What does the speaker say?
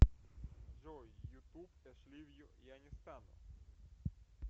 джой ютуб эшливью я не стану